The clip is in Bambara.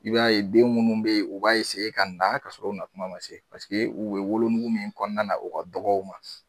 I b'a ye den munnu be yen, u b'a ka na ka sɔrɔ u na kuma ma se paseke u bɛ wolonugu min kɔnɔna na u ka dɔgɔ u ma